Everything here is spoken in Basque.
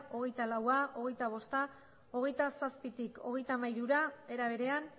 hogeita laua hogeita bosta hogeita zazpitik hogeita hamairura era berean